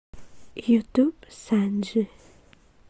ютуб санджи